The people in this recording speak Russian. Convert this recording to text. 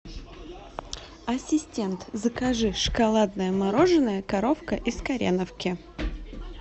ассистент закажи шоколадное мороженое коровка из кореновки